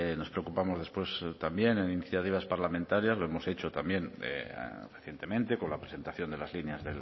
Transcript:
nos preocupamos después también en iniciativas parlamentarias lo hemos hecho también recientemente con la presentación de las líneas